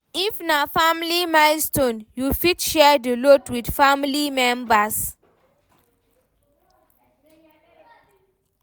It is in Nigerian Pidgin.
If na family milestone, you fit share di load with family members